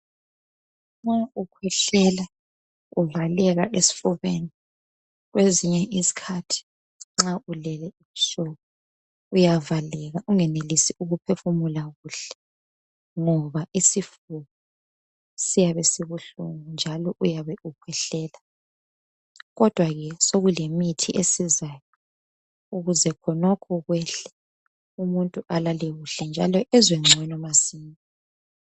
Nxa ukhwehlela uyavaleka esifubeni kwezinye isikhathi nxa ulele uyayebe usuphefumula nzima ngoba isifuba siyabe sibuhlungu njalo uyabe ukhwehlela kodwa sokulemithi esizayo ukuthi lokhu kwehle njalo asile masinyane